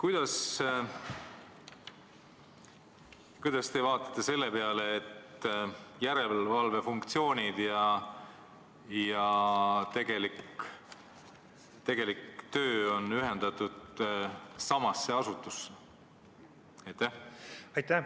Aga Kuidas te vaatate selle peale, et järelevalve funktsioonid ja tegelik töö on ühendatud samasse asutusse?